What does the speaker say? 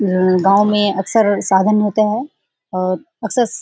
गाओ में अक्सर साधन होते हैं और अक्सर --